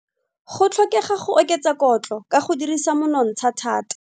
Go tlhokega go oketsa kotlo ka go dirisa monontsha thata.